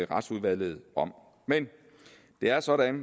retsudvalget om men det er sådan